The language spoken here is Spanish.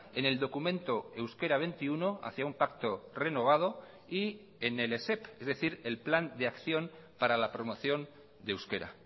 en el documento euskera veintiuno hacia un pacto renovado y en el esep es decir el plan de acción para la promoción de euskera